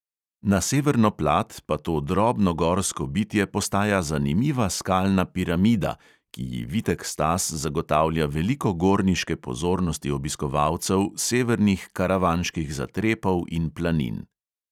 Na severno plat pa to drobno gorsko bitje postaja zanimiva skalna piramida, ki ji vitek stas zagotavlja veliko gorniške pozornosti obiskovalcev severnih karavanških zatrepov in planin.